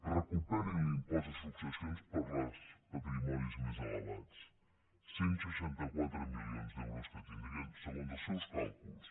recuperin l’impost de successions per als patrimonis més elevats cent i seixanta quatre milions d’euros que tindrien segons els seus càlculs